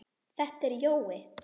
Þetta er Jói!